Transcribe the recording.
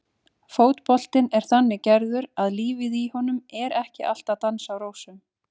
Fótboltinn er þannig gerður að lífið í honum er ekki alltaf dans á rósum.